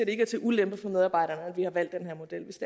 ikke er til ulempe for medarbejderne at vi har valgt den her model hvis